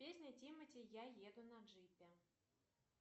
песня тимати я еду на джипе